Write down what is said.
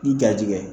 I gajigɛ